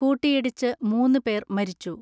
കൂട്ടിയിടിച്ച് മൂന്നു പേർ മരിച്ചു.